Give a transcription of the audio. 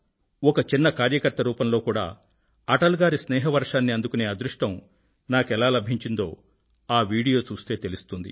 ఒక చిన్న కార్యకర్త రూపంలో కూడా అటల్ గారి స్నేహ వర్షాన్ని అందుకునే అదృష్టం నాకెలా లభించిందో ఆ వీడియోను చూస్తే తెలుస్తుంది